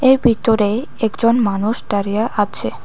এর ভিতরে একজন মানুষ ডারিয়া আছে।